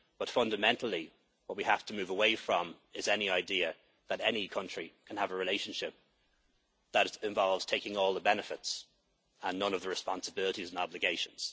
with the UK. But fundamentally what we have to move away from is any idea that any country can have a relationship that involves taking all the benefits and none of the responsibilities and